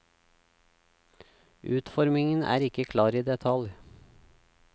Utformingen er ikke klar i detalj.